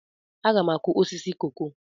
Aga m akụ osisi koko.